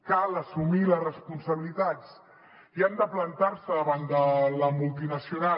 cal assumir les responsabilitats i han de plantar se davant de la multinacional